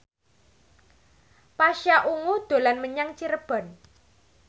Pasha Ungu dolan menyang Cirebon